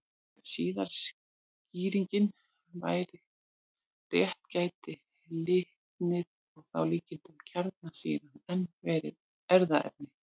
Ef síðari skýringin væri rétt gæti litnið, og þá að líkindum kjarnsýran, enn verið erfðaefnið.